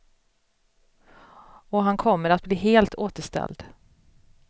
Och han kommer att bli helt återställd.